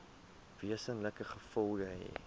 wesenlike gevolge hê